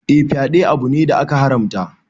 Eh, fyaɗe abu ne da aka haramta.